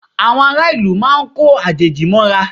Àwọn ará ìlú máa ko àjèjì mọ́ra